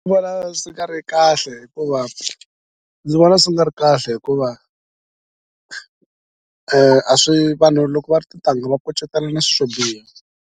Vona swi nga ri kahle hikuva ndzi vona swi nga ri kahle hikuva a swi vanhu loko va ri tintangha va kucetelana swilo swo biha.